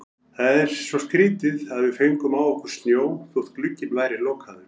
Það er svo skrýtið að við fengum á okkur snjó þótt glugginn væri lokaður.